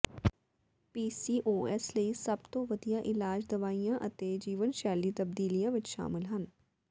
PCOS ਲਈ ਸਭ ਤੋਂ ਵਧੀਆ ਇਲਾਜ ਦਵਾਈਆਂ ਅਤੇ ਜੀਵਨਸ਼ੈਲੀ ਤਬਦੀਲੀਆਂ ਵਿਚ ਸ਼ਾਮਲ ਹਨ